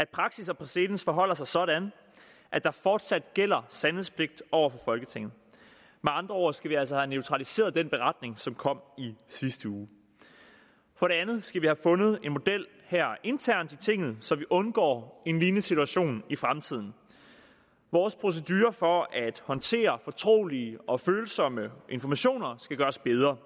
praksis og præcedens forholder sig sådan at der fortsat gælder sandhedspligt over for folketinget med andre ord skal vi altså have neutraliseret den beretning som kom i sidste uge for det andet skal vi have fundet en model her internt i tinget så vi undgår en lignende situation i fremtiden vores procedurer for at håndtere fortrolige og følsomme informationer skal gøres bedre